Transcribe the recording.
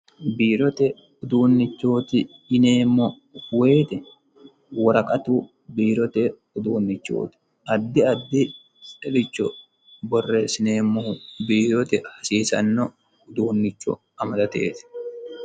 Biirote uduunichooti yineemo woyete woraqatu biirote uduunichooti addi addiricho boreesineemohu biirote hasiisano uduunicho amadateeti.